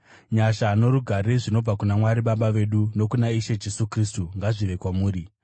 Nyasha norugare zvinobva kuna Mwari Baba vedu nokuna Ishe Jesu Kristu ngazvive kwamuri.